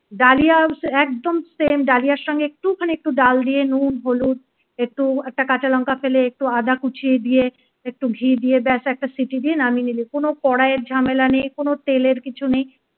dahlia একদম same ডালিয়ার সঙ্গে একটুখানি একটু ডাল দিয়ে নুন হলুদ একটু একটা কাঁচা লঙ্কা ফেলে একটু আদা কুচি দিয়ে একটু ঘি দিয়ে ব্যাস একটা সিটি দিয়ে নামিয়ে নিলি কোন কড়াইয়ের ঝামেলা নেই কোন তেলের কিছু নেই